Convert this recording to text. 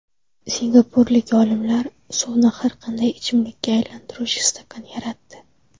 Singapurlik olimlar suvni har qanday ichimlikka aylantiruvchi stakan yaratdi .